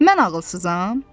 Mən ağılsızam?